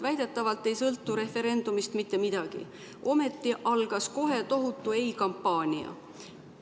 Väidetavalt ei sõltu referendumist mitte midagi, ometi algas kohe tohutu ei‑kampaania.